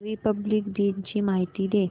Republic दिन ची माहिती दे